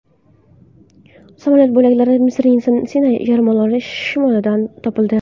Samolyot bo‘laklari Misrning Sinay yarimoroli shimolidan topildi.